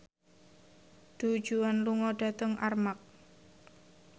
Du Juan lunga dhateng Armargh